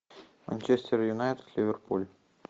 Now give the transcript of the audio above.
манчестер юнайтед ливерпуль